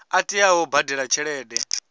a teaho u badela tshelede